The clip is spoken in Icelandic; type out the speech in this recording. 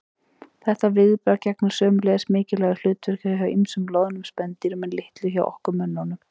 Þetta viðbragð gegnir sömuleiðis mikilvægu hlutverki hjá ýmsum loðnum spendýrum en litlu hjá okkur mönnunum.